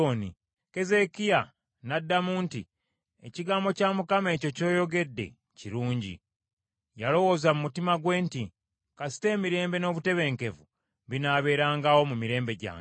Keezeekiya n’addamu nti, “Ekigambo kya Mukama ekyo ky’oyogedde kirungi.” Yalowooza mu mutima gwe nti, “Kasita, emirembe n’obutebenkevu binaabeerangawo mu mirembe gyange.”